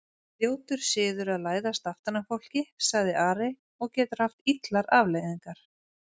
Ljótur siður að læðast aftan að fólki, sagði Ari,-og getur haft illar afleiðingar!